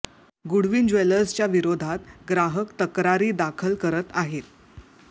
Goodwin ज्वेलर्सच्या विरोधात ग्राहक तक्रारी दाखल करत आहेत